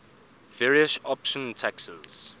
various option taxes